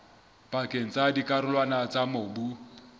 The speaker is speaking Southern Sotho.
pakeng tsa dikarolwana tsa mobu